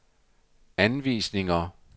anvisninger